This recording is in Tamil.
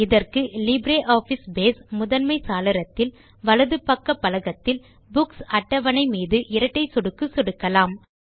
இதற்கு லிப்ரியாஃபிஸ் பேஸ் முதன்மை சாளரத்தில் வலது பக்க பலகத்தில் புக்ஸ் அட்டவணை மீது இரட்டை சொடுக்கு சொடுக்கலாம்